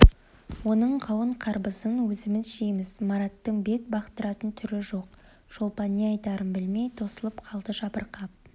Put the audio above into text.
оның қауын-қарбызын өзіміз жейміз мараттың бет бақтыратын түрі жоқ шолпан не айтарын білмей тосылып қалды жабырқап